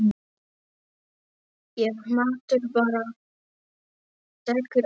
Ef maður bara tekur á.